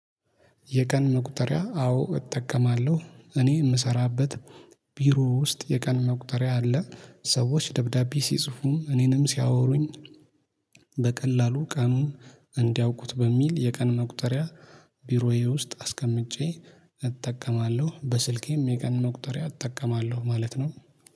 የቀን መቁጠሪያ አዎ እጠቀማለሁ እኔ የምሰራበት ቢሮ ውስጥ የቀን መቁጠሪያ አለ። ሰዎች ደብዳቤ ሲጽፉም እኔንም ሲያወሩኝ በቀላሉ ቀኑን እንዲያውቁት በሚል የቀን መቁጠሪያ ቢሮዬ ውስጥ አስቀምጬ እጠቀማለሁ። በስልኬም የቀን መቁጠሪያ እጠቀማለሁ ማለት ነው።